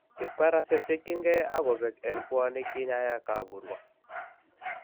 Kibkaras chektyinkeey ak kobek en pwonik kinyaay kaaburwa